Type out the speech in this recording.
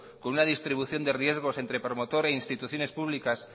con una distribución de riesgo entre promotor e instituciones públicas